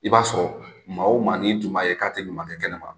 I b'a sɔrɔ maa o maa ni tun b'a ye k'a tɛ ɲuman kɛ kɛnɛ ma.